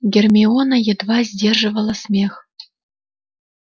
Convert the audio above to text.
гермиона едва сдерживала смех